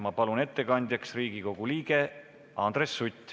Ma palun ettekandjaks Riigikogu liikme Andres Suti!